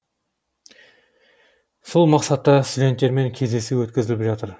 сол мақсатта студенттермен кездесу өткізіліп жатыр